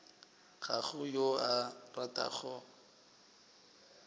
ga go yo a ratago